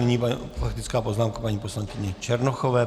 Nyní faktická poznámka paní poslankyně Černochové.